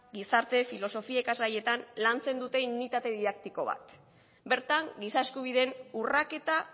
gizarte filosofia ikasgaietan lantzen dute unitate didaktiko bat bertan giza eskubideen urraketa